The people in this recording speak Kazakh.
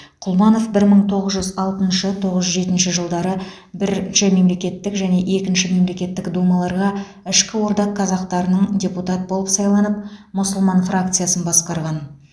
құлманов бір мың тоғыз жүз алтыншы тоғыз жүз жетінші жылдары бірінші мемлекеттік және екінші мемлекеттік думаларға ішкі орда қазақтарынан депутат болып сайланып мұсылман фракциясын басқарған